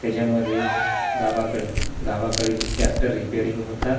त्याच्यामध्ये गावाकड गावाकड गावाकडील ट्रॅक्टर रिपेअरिंग होतात री--